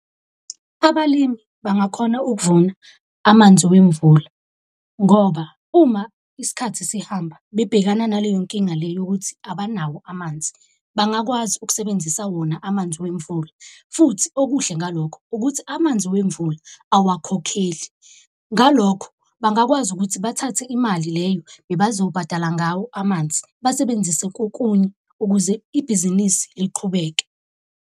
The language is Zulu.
Abalimi bangakhona ukuvuna amanzi wemvula, ngoba uma isikhathi sihamba bebhekana naleyo nkinga le yokuthi abanawo amanzi, bangakwazi ukusebenzisa wona amanzi wemvula. Futhi okuhle ngalokho ukuthi amanzi wemvula awakhokheli, ngalokho bangakwazi ukuthi bathathe imali leyo bazobhadala ngawo amanzi basebenzise kokunye ukuze ibhizinisi liqhubeke.